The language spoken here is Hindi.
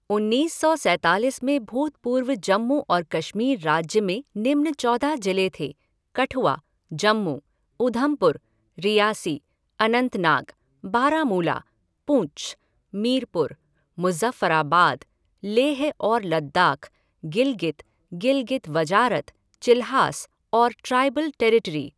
उन्नीस सौ सैंतालीस में भूतपूर्व जम्मू और कश्मीर राज्य में निम्न चौदह जिले थे कठुआ, जम्मू, ऊधमपुर, रियासी, अनंतनाग, बारामूला, पुँछ, मीरपुर, मुज़फ़्फ़राबाद, लेह और लद्दाख़, गिलगित, गिलगित वजारत, चिल्हास और ट्राइबल टेरिटरी।